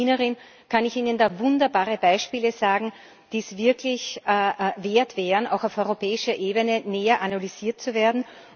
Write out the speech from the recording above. Gerade als Wienerin kann ich ihnen da wunderbare Beispiele sagen, die es wirklich wert wären, auch auf europäischer Ebene näher analysiert zu werden.